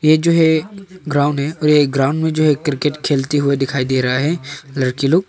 ये जो है ग्राउंड है और ये ग्राउंड में जो है क्रिकेट खेलते हुए दिखाई दे रहा है लड़की लोग।